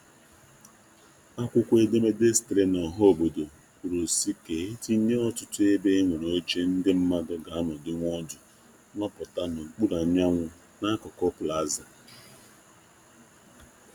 Akwụkwọ edemede sitere na ọha obodo kwuru si ka e tinye ọtụtụ ebe e nwere oche ndị mmandu g'anọdinwu ọdụ nọputa n'okpuru anyanwu n'akụkụ Plaza.